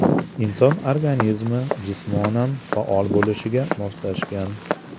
Inson organizmi jismonan faol bo‘lishga moslashgan.